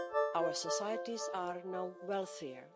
Our societies are now wealthier.